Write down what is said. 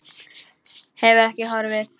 Hefur ekki horfið.